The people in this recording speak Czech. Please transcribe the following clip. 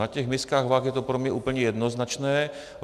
Na těch miskách vah je to pro mě úplně jednoznačné.